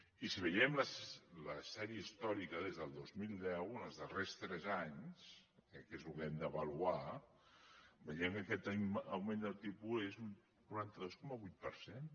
i si veiem la sèrie històrica des del dos mil deu en els darrers tres anys que crec que és el que hem d’avaluar veiem que aquest augment del tipus és d’un quaranta dos coma vuit per cent